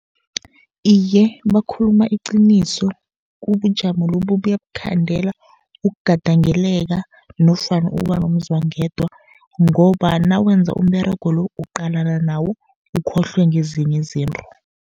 Iye, bakhuluma iqiniso, ubujamo lobu buyakukhandela ukugadangeleka nofana ukuba nomzwangedwa, ngoba nawenza umberego lo uqalana nawo ukhohlwe ngezinye izinto.